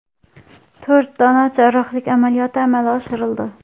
To‘rtta jarrohlik amaliyoti amalga oshirildi.